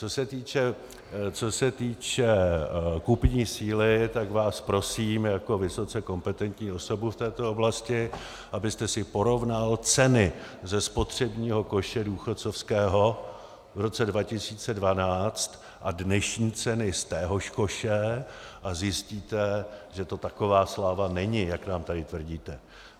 Co se týče kupní síly, tak vás prosím jako vysoce kompetentní osobu v této oblasti, abyste si porovnal ceny ze spotřebního koše důchodcovského v roce 2012 a dnešní ceny z téhož koše, a zjistíte, že to taková sláva není, jak nám tady tvrdíte.